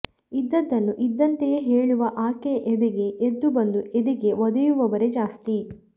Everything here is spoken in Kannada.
ಇದ್ದದ್ದನ್ನು ಇದ್ದಂತೆಯೇ ಹೇಳುವ ಆಕೆಯ ಎದೆಗೆ ಎದ್ದು ಬಂದು ಎದೆಗೆ ಒದೆಯುವವರೇ ಜಾಸ್ತಿ